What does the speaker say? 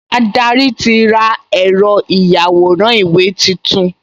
Adarí ti ra ẹ̀rọ ìyàwòrán-ìwé tuntun